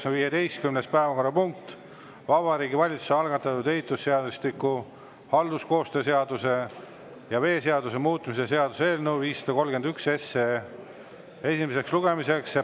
See on Vabariigi Valitsuse algatatud ehitusseadustiku, halduskoostöö seaduse ja veeseaduse muutmise seaduse eelnõu 531 esimene lugemine.